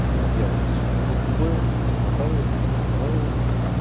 типа я вот здесь увидел вот такое мне вот эта понравилась вот это не понравилось